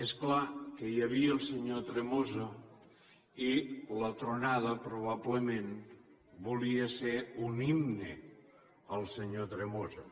és clar que hi havia el senyor tremosa i la tronada probablement volia ser un himne al senyor tremosa